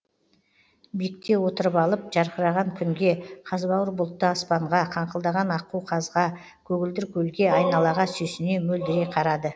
биікте отырып алып жарқыраған күнге қазбауыр бұлтты аспанға қаңқылдаған аққу қазға көгілдір көлге айналаға сүйсіне мөлдірей қарады